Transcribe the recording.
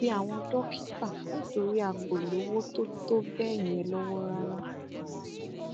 a bẹ àwọn dókítà nítorí a kò lówó tó tọ bẹẹ yẹn lọwọ rárá